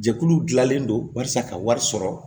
Jɛkulu gilanlen don walasa ka wari sɔrɔ